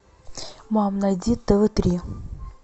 мам найди тв три